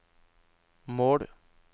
mål